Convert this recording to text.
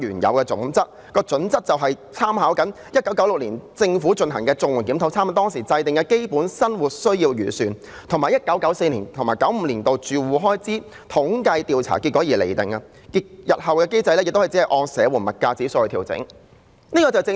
這準則便是根據1996年政府進行的綜援檢討，參考當時制訂的"基本生活需要預算"，以及 1994-1995 年度的住戶開支統計調查結果來釐定，日後亦只會按社援物價指數來調整。